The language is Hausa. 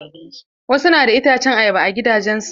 Wasu na da itacen ayaba a gidajen su.